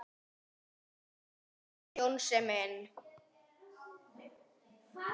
Ó, elsku Jónsi minn.